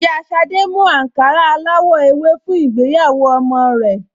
Ìyá Ṣadé mú àǹkárá aláwọ̀ ewé fún ìgbéyàwó ọmọ rẹ̀